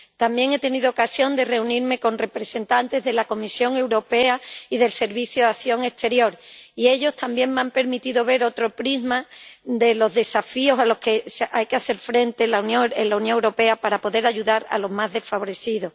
También he tenido ocasión de reunirme con representantes de la Comisión Europea y del Servicio Europeo de Acción Exterior y ellos también me han permitido ver otro prisma de los desafíos a los que hay que hacer frente en la Unión Europea para poder ayudar a los más desfavorecidos.